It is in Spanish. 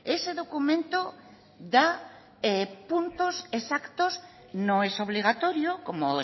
ese documento da puntos exactos no es obligatorio como